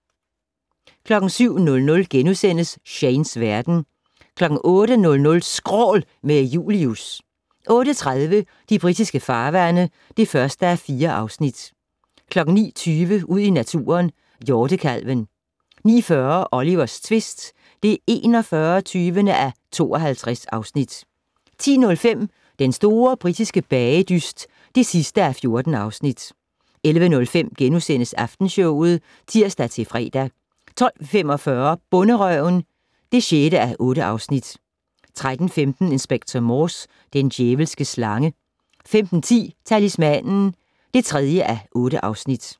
07:00: Shanes verden * 08:00: Skrål - med Julius 08:30: De britiske farvande (1:4) 09:20: Ud i naturen: Hjortekalven 09:40: Olivers tvist (41:52) 10:05: Den store britiske bagedyst (14:14) 11:05: Aftenshowet *(tir-fre) 12:45: Bonderøven (6:8) 13:15: Inspector Morse: Den djævelske slange 15:10: Talismanen (3:8)